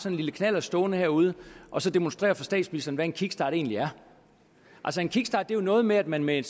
en lille knallert stående herude og så demonstrere for statsministeren hvad en kickstart egentlig er en kickstart er jo noget med at man med